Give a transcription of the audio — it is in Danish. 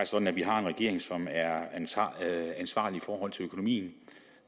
sådan at vi har en regering som er ansvarlig i forhold til økonomien